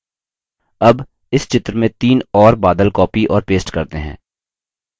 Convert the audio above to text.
अब इस picture में तीन और बादल copy और paste करते हैं